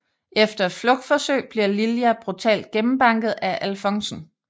Efter et flugtforsøg bliver Lilja brutalt gennembanket af alfonsen